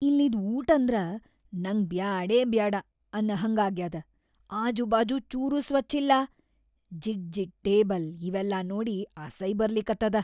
ಇಲ್ಲಿದ್ ಊಟಂದ್ರ ನಂಗ್ ಬ್ಯಾಡೇಬ್ಯಾಡ ಅನ್ನಹಂಗಾಗ್ಯಾದ, ಆಜೂಬಾಜೂ ಚೂರೂ ಸ್ವಚ್ಛಿಲ್ಲಾ, ಜಿಡ್‌ಜಿಡ್ ಟೇಬಲ್‌ ಇವೆಲ್ಲಾ ನೋಡಿ ಅಸೈ ಬರ್ಲಿಕತ್ತದ.